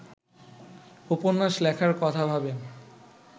উপন্যাস লেখার কথা ভাবেন